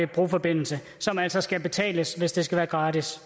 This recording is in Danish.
broforbindelse som altså skal betales hvis det skal være gratis